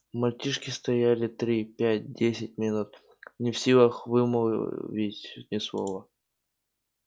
мальчишки стояли три пять десять минут не в силах вымолвить ни слова